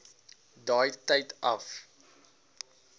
daai tyd af